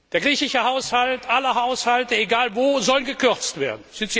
Der griechische Haushalt, alle Haushalte, egal wo, sollen gekürzt werden.